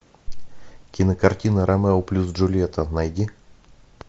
кинокартина ромео плюс джульетта найди